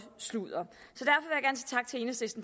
sludder